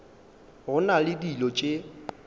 go na le dilo tše